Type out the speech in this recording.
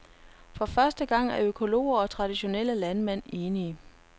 For første gang er økologer og traditionelle landmænd enige.